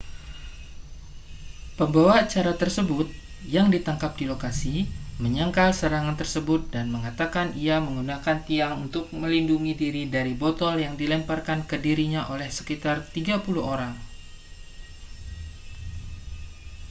pembawa acara tersebut yang ditangkap di lokasi menyangkal serangan tersebut dan mengatakan ia menggunakan tiang untuk melindungi diri dari botol yang dilemparkan ke dirinya oleh sekitar 30 orang